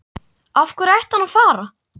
Af hverju ætti hann að fara?